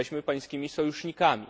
Jesteśmy Pańskimi sojusznikami.